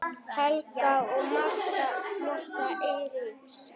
Helgi og Martha Eiríks.